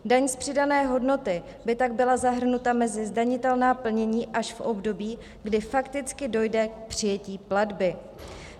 Daň z přidané hodnoty by tak byla zahrnuta mezi zdanitelná plnění až v období, kdy fakticky dojde k přijetí platby.